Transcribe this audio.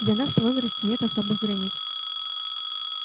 для нас в возрасте нет особых границ